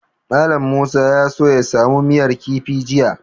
Mallam Musa ya so ya samu miyar kifi jiya.